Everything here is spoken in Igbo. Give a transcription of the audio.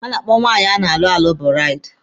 A na-akpọ nwunye a na-alụ alụ buraidi.